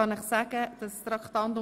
Sie haben das Postulat angenommen.